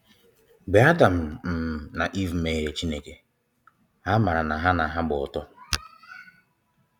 Mgbe Adam um na Eve mmehiere Chineke, ha mara na ha na ha gba ọtọ.